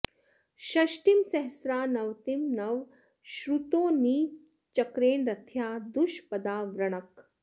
षष्टिं सहस्रा नवतिं नव श्रुतो नि चक्रेण रथ्या दुष्पदावृणक्